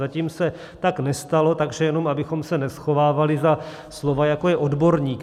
Zatím se tak nestalo, takže jenom abychom se neschovávali za slova, jako je odborník.